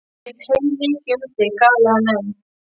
Ég veit heilmikið um þig galaði hann enn.